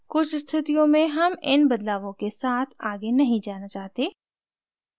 कुछ स्थितियों में हम इन बदलावों के साथ आगे नहीं जाना चाहते